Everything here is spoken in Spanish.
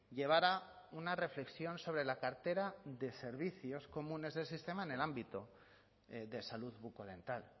llevara una reflexión sobre la cartera de servicios comunes del sistema en el ámbito de salud bucodental